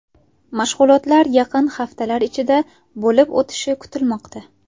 Mashg‘ulotlar yaqin haftalar ichida bo‘lib o‘tishi kutilmoqda.